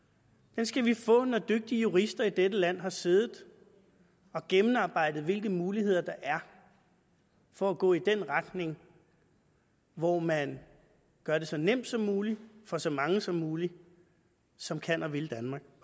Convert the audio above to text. den skal vi få når dygtige jurister i dette land har siddet og gennemarbejdet hvilke muligheder der er for at gå i den retning hvor man gør det så nemt som muligt for så mange som muligt som kan og vil danmark